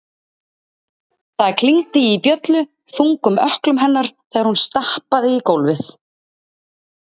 Það klingdi í bjöllu- þungum ökklum hennar þegar hún stappaði í gólfið.